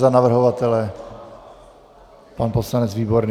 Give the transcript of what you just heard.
Za navrhovatele pan poslanec Výborný.